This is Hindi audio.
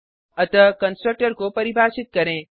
अतः कंस्ट्रक्टर को परिभाषित करें